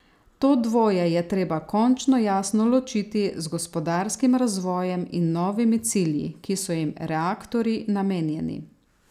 To dvoje je treba končno jasno ločiti z gospodarskim razvojem in novimi cilji, ki so jim reaktorji namenjeni.